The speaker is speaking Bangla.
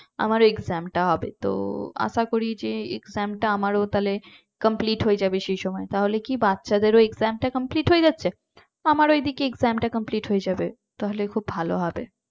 আমার exam টা হবে তো আশা করি যে exam টা আমারও তাহলে complete হয়ে যাবে সেই সময় তাহলে কি বাচ্চাদের ও exam টা complete হয়ে যাচ্ছে আমারও এদিকে exam টা complete হয়ে যাবে তাহলে খুব ভালো হবে।